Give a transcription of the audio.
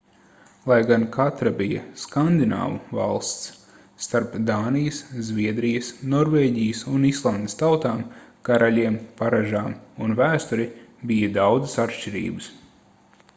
lai gan katra bija skandināvu valsts starp dānijas zviedrijas norvēģijas un islandes tautām karaļiem paražām un vēsturi bija daudzas atšķirības